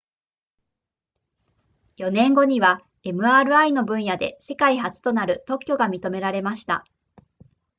4年後には mri の分野で世界初となる特許が認められました